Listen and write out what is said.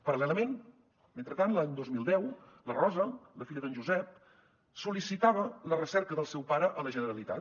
paral·lelament mentrestant l’any dos mil deu la rosa la filla d’en josep sol·licitava la recerca del seu pare a la generalitat